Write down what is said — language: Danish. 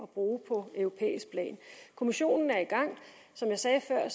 brug på europæisk plan kommissionen er i gang og som jeg sagde før